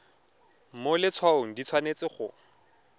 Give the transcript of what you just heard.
mo letshwaong di tshwanetse go